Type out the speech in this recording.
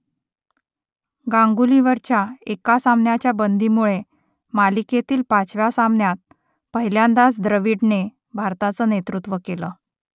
गांगुलीवरच्या एका सामन्याच्या बंदीमुळे मालिकेतील पाचव्या सामन्यात पहिल्यांदाच द्रविडने भारताचं नेतृत्व केलं